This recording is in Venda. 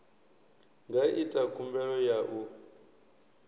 nga ita khumbelo ya u